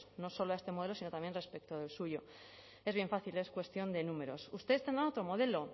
no solo a este modelo sino también respecto del suyo es bien fácil es cuestión de números ustedes tendrán otro modelo